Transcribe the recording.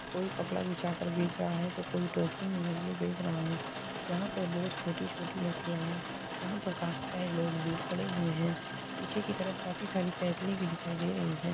कोई कपड़ा बिछाकर बेच रहा है तो कोई टोकरी में मछली बेच रहा हैं। यहां पर बोहोत छोटी-छोटी मछलियाॅं हैं। यहां पर काफी सारे लोग भी खड़े हुए हैं। पीछे की तरफ काफी सारे साइकिलें भी दिखाई दे रही हैं।